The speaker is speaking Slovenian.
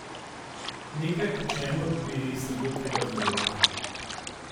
Nekaj, po čemur bi se bilo treba zgledovati.